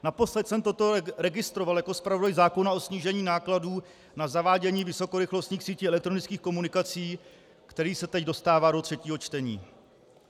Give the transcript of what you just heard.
Naposled jsem toto registroval jako zpravodaj zákona o snížení nákladů na zavádění vysokorychlostních sítí elektronických komunikací, který se teď dostává do třetího čtení.